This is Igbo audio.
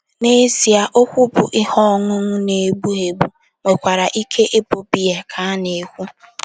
N’ezie, okwu bụ́ “ ihe ọṅụṅụ na - egbu egbu ” nwekwara ike ịbụ biya ka ana-ekwu.